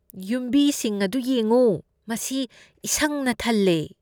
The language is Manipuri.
ꯌꯨꯝꯕꯤꯁꯤꯡ ꯑꯗꯨ ꯌꯦꯡꯉꯨ꯫ ꯃꯁꯤ ꯏꯁꯪꯅ ꯊꯜꯂꯦ꯫